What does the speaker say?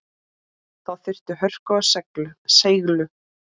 Þá þurfti hörku og seiglu.